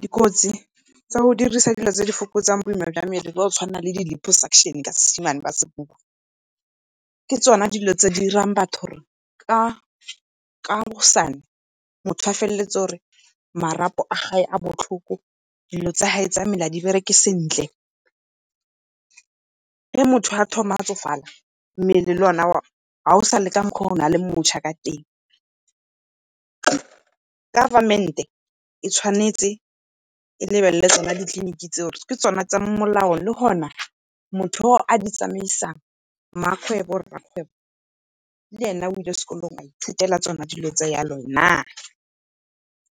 Dikotsi tsa o dirisa dilo tse di fokotsang boima jwa mmele tsa o tshwana le liposuction , ke tsona dilo tse di dirang batho gore kaosane motho a feleletse o re marapo a gage a botlhoko, dilo tsa ga e tsa mmele ga di bereke sentle. Ge motho a thoma a tsofala mmele le o ne ga o sa le ka mokgwa o na le motšha ka teng. Government e tshwanetse e lebelele tsone ditleliniki tseo, ke tsa molao le gona motho yo a di tsamaisang, mmakgwebo rrakgwebo le ene o ile sekolong a ithutela tsona dilo tse yalo na,